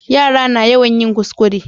Yara na yawan yin kuskure